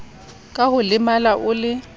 ka ho lemala o le